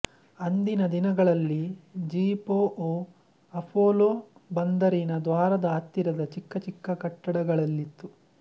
ಅಂದಿನ ದಿನಗಳಲ್ಲಿ G P O Apollo ಬಂದರಿನ ದ್ವಾರದ ಹತ್ತಿರದ ಚಿಕ್ಕಚಿಕ್ಕ ಕಟ್ಟಡಗಳಲ್ಲಿತ್ತು